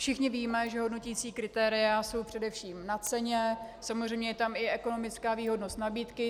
Všichni víme, že hodnoticí kritéria jsou především na ceně, samozřejmě je tam i ekonomická výhodnost nabídky.